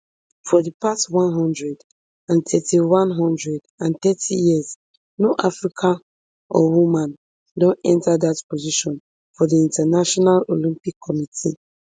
for di past one hundred and thirty one hundred and thirty years no african or woman don enta dat position for di international olympic committee